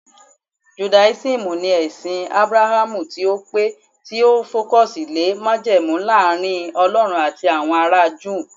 judaism ni ẹsìn abrahamu tio tí pẹ ti o focus lè majemu Laarin ọlọrun ati awọn ara juu